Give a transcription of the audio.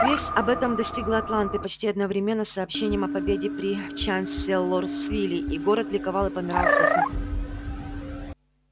весть об этом достигла атланты почти одновременно с сообщением о победе при чанселорсвилле и город ликовал и помирал со смеху